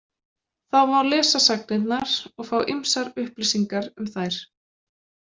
Þá má lesa sagnirnar og fá ýmsar upplýsingar um þær.